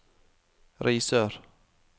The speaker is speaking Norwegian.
Risør